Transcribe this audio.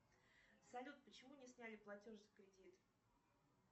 салют почему не сняли платеж за кредит